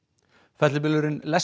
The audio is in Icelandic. fellibylurinn